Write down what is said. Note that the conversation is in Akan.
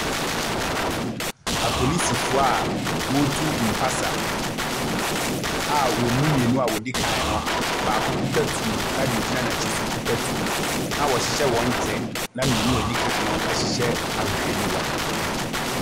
Apolisifo a wɔretu mpasa a wɔn mu mmienu a wɔdi kan no baako kuta tuo na nea ogyina n'akyi nso kuta tuo. Na wɔhyehyɛ wɔn kyɛ. Na mmienu a edi kan no hyehyɛ ahwehwɛniwa.